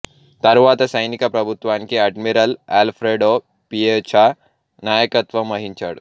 తరువాత సైనిక ప్రభుత్వానికి అడ్మిరల్ అల్ఫ్రెడో పియెచా నాయకత్వం వహించాడు